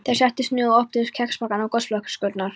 Þeir settust niður og opnuðu kexpakkana og gosflöskurnar.